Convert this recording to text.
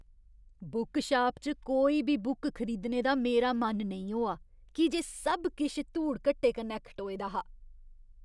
Bookshop च कोई बी बुक खरीदने दा मेरा मन नेईं होआ की जे सब किश धूड़ घट्टे कन्नै खटोए दा हा।